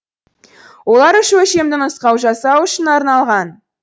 олар үш өлшемді нұсқау жасау үшін арналған